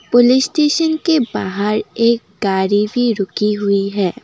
Police station के बाहर एक गाड़ी भी रुकी हुई है।